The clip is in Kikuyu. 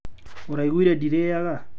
Ũraiguire ndĩrĩaga.